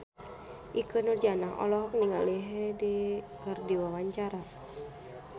Ikke Nurjanah olohok ningali Hyde keur diwawancara